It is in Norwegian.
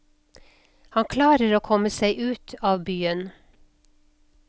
Han klarer å komme seg ut av byen.